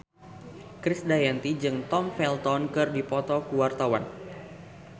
Krisdayanti jeung Tom Felton keur dipoto ku wartawan